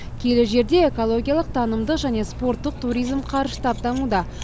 киелі жерде экологиялық танымдық және спорттық туризм қарыштап дамуда